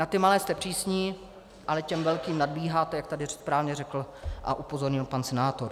Na ty malé jste přísní, ale těm velkým nadbíháte, jak tady správně řekl a upozornil pan senátor.